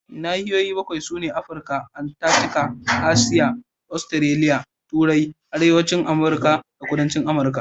Nahiyoyi bakwai sune: Afirka, Antarctica, Asiya, Australia, Turai, Arewacin Amurka da Kudancin Amurka.